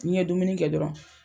Ni n ye dumuni kɛ dɔrɔn